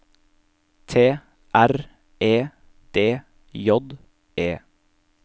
T R E D J E